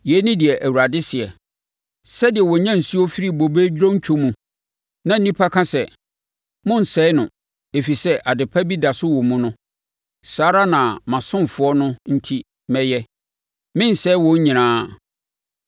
Yei ne deɛ Awurade seɛ: “Sɛdeɛ wɔnya nsuo firi bobe dontwo mu na nnipa ka sɛ, ‘Monnsɛe no, ɛfiri sɛ adepa bi da so wɔ mu’ no saa ara na mʼasomfoɔ no enti mɛyɛ. Merensɛe wɔn nyinaa.